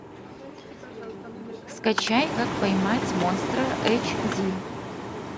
скачай как поймать монстра эйч ди